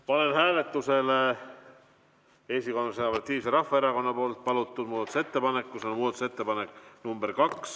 Panen hääletusele Eesti Konservatiivse Rahvaerakonna palvel muudatusettepaneku nr 2.